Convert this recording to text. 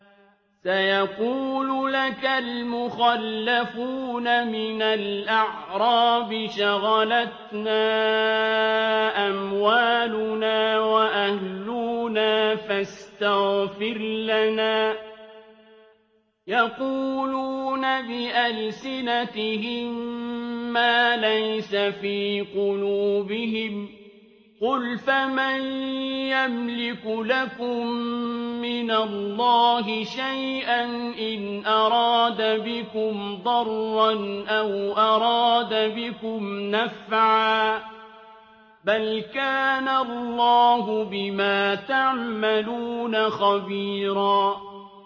سَيَقُولُ لَكَ الْمُخَلَّفُونَ مِنَ الْأَعْرَابِ شَغَلَتْنَا أَمْوَالُنَا وَأَهْلُونَا فَاسْتَغْفِرْ لَنَا ۚ يَقُولُونَ بِأَلْسِنَتِهِم مَّا لَيْسَ فِي قُلُوبِهِمْ ۚ قُلْ فَمَن يَمْلِكُ لَكُم مِّنَ اللَّهِ شَيْئًا إِنْ أَرَادَ بِكُمْ ضَرًّا أَوْ أَرَادَ بِكُمْ نَفْعًا ۚ بَلْ كَانَ اللَّهُ بِمَا تَعْمَلُونَ خَبِيرًا